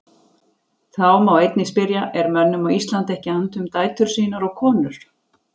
Þá má einnig spyrja: Er mönnum á Íslandi ekki annt um dætur sínar og konur?